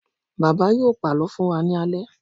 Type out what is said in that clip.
Bàbá yóò pàlọ́ fún wa ní alẹ́.